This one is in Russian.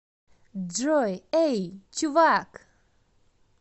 джой эй чувак